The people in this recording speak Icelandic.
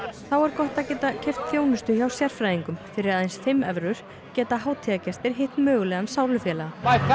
er gott að geta keypt þjónustu hjá sérfræðingum fyrir aðeins fimm evrur geta hátíðargestir hitt mögulegan sálufélaga